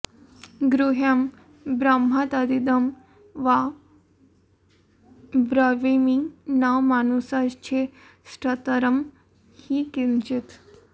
गुह्यं ब्रह्म तदिदं वा ब्रवीमि न मानुषाच्छ्रेष्ठतरं हि किंचित्